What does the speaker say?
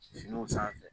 Finiw sanfɛ